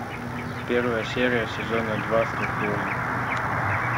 первая серия сезона два скорпион